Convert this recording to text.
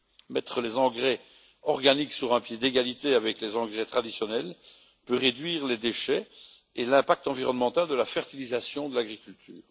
Mettre les engrais organiques sur un pied d'égalité avec les engrais traditionnels peut réduire les déchets et l'impact environnemental de la fertilisation et de l'agriculture.